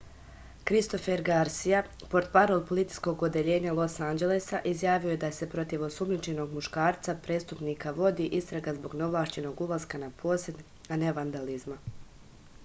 kristofer garsija portparol policijskog odeljenja los anđelesa izjavio je da se protiv osumnjičenog muškarca prestupnika vodi istraga zbog neovlašćenog ulaska na posed a ne vandalizma